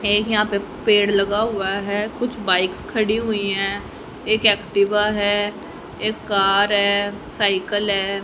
ये यहां पे पेड़ लगा हुआ है कुछ बाइक्स खड़ी हुई है एक एक्टिवा है एक कार है साइकल है।